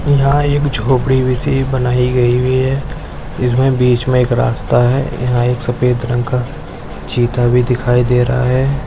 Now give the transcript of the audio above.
यहा एक झोपड़ी जैसी बनाई गयी हुई है इसमे बीच मे एक रास्ता है यहा एक सफ़ेद रंग का चिता भी दिखाई दे रहा है।